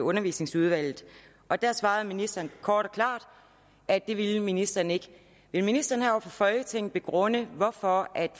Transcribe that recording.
undervisningsudvalget og der svarede ministeren kort og klart at det ville ministeren ikke vil ministeren her over for folketinget begrunde hvorfor